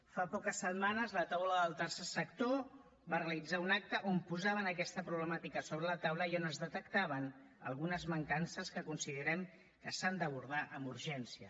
fa poques setmanes la taula del tercer sector va realitzar un acte on posaven aquesta problemàtica sobre la taula i on es detectaven algunes mancances que considerem que s’han d’abordar amb urgència